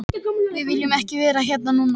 Tónleikar Jónsa mærðir mjög